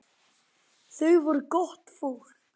Þau voru gott fólk.